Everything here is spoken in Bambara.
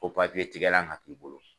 Fo tigɛlan ka k'i bolo.